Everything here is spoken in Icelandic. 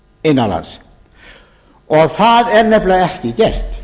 innanlands en það er nefnilega ekki gert